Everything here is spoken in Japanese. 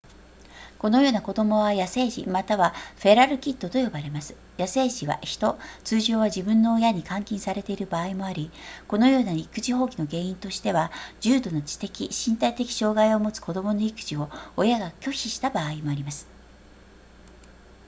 このような子供は野生児またはフェラルキッドと呼ばれます野生児は人通常は自分の親に監禁されている場合もありこのような育児放棄の原因としては重度の知的身体的障害を持つ子供の育児を親が拒否した場合もあります